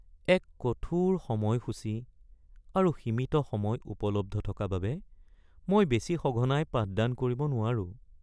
এক কঠোৰ সময়সূচী আৰু সীমিত সময় উপলব্ধ থকা বাবে, মই বেছি সঘনাই পাঠদান কৰিব নোৱাৰোঁ।